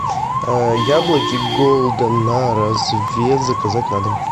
яблоки голден на развес заказать на дом